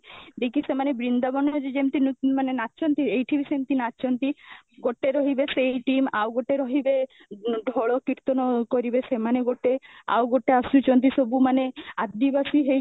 ଦେଇକି ସେମାନେ ବୃନ୍ଦାବନ ରେ ଯେମିତି ନାଚନ୍ତି ଏଠିବି ସେମାନେ ନାଚନ୍ତି, ଗୋଟେ ରହିବେ ସେଇ team ଆଉ ଗୋଟେ ରହିବେ ଢୋଲ କୀର୍ତନ କରିବେ ସେମାନେ ଗୋଟେ, ଆଉ ଗୋଟେ ଆସୁଛନ୍ତି ସବୁ ମାନେ ଆଦିବାସୀ ହେଇକି